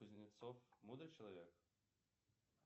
кузнецов мудрый человек